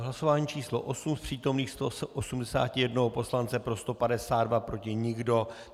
V hlasování číslo 8 z přítomných 181 poslanců pro 152, proti nikdo.